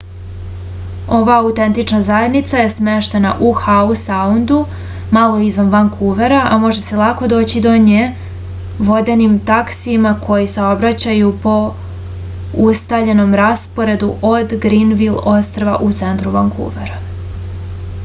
ova autentična zajednica je smeštena u hau saundu malo izvan vankuvera a može se lako doći do nje vodenim taksijima koji saobraćaju po ustaljenom rasporedu od granvil ostrva u centru vankuvera